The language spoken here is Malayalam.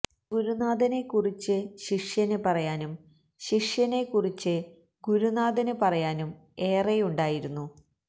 ഗുരുനാഥനെ കുറിച്ച് ശിഷ്യന് പറയാനും ശിഷ്യനെ കുറിച്ച് ഗുരുനാഥന് പറയാനും ഏറെയുണ്ടായിരുന്നു